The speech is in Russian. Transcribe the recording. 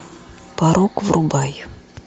порок врубай